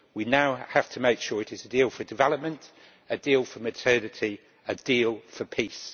We now have to make sure it is a deal for development, a deal for modernity, a deal for peace.